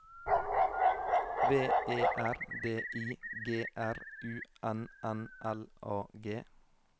V E R D I G R U N N L A G